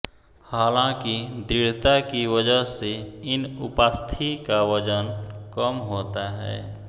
हालांकि दृढ़ता की वजह से इन उपास्थि का वजन कम होता है